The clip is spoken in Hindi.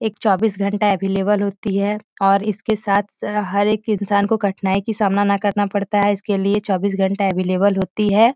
चौबीस घंटा अवेलेबल होती है और इसके साथ हर एक इंसान को कठनाई की सामना ना करना पड़ता है इसके लिए चौबीस घंटे अवेलेबल होती हैं।